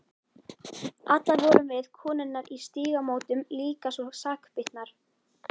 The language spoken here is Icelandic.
Allar vorum við, konurnar í Stígamótum, líka svo sakbitnar.